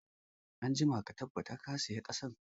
Anjima ka tabbata ka sayi ƙasan